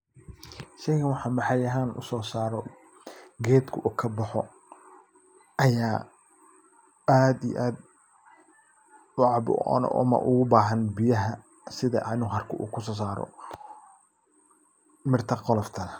Sheygan waxa maxalli ahan usosaro, qedku u kaboxo, aya aad iyo aad ucabo ona ubahan biyaxa, sidhaan uarko ukososaro, mirta qolofta.